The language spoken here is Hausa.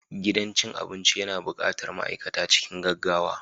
Gidan cin abinci yana buƙatar ma'aikata cikin gaggawa